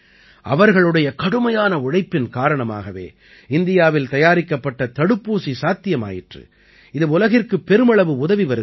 அவர்களுடைய கடுமையான உழைப்பின் காரணமாகவே இந்தியாவில் தயாரிக்கப்பட்ட தடுப்பூசி சாத்தியமாயிற்று இது உலகிற்கு பெருமளவு உதவி வருகிறது